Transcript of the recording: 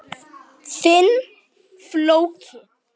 Þinn, Flóki.